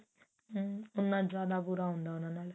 ਉੰਨਾ ਜਿਆਦਾ ਬੁਰਾ ਹੁੰਦਾ ਉਹਨਾਂ ਨਾਲ